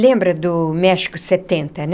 Lembra do México setenta, né?